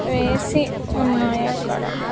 వేసి ఉన్నాయి అక్కడ .